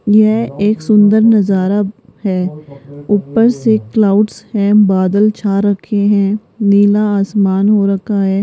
यह एक सुंदर नजारा है ऊपर से क्लाउड्स हैं बादल छा रखे हैं नीला आसमान हो रखा है।